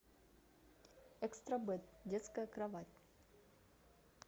экстра бэд детская кровать